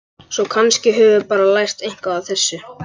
Svo kannski höfum við bara lært eitthvað á þessu.